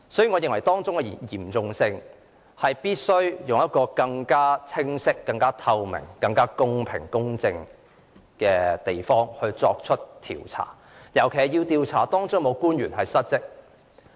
我認為事態嚴重，必須以更清晰、透明、公平、公正的方式作出調查，尤其要調查當中是否有官員失職。